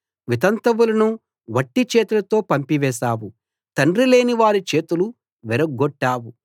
వితంతువులను వట్టి చేతులతో పంపివేశావు తండ్రి లేనివారి చేతులు విరగ్గొట్టావు